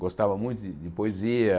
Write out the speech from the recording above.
Gostava muito de de poesia.